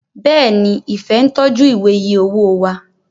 Béèni Ifẹ ń tọjú Ìwé iye owó wá